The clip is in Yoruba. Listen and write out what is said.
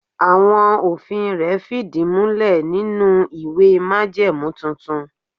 Àwọn òfin rẹ̀ fìdí múlè nínú ìwé májẹ̀mú tuntun.